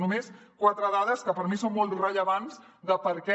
només quatre dades que per mi són molt rellevants de per què